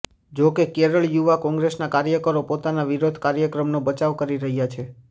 જોકે કેરળ યુવા કોંગ્રેસના કાર્યકરો પોતાના વિરોધ કાર્યક્રમનો બચાવ કરી રહ્યા છે